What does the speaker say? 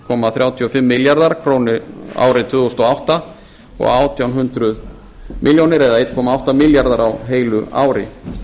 komma þrjátíu og fimm milljarðar króna á árinu tvö þúsund og átta og einn komma átta milljarðar á heilu ári